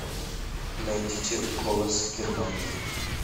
найдите голос германии